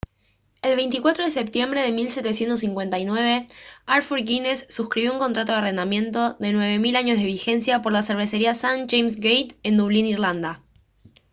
el 24 de septiembre de 1759 arthur guinness suscribió un contrato de arrendamiento de 9000 años de vigencia por la cervecería st james's gate en dublín irlanda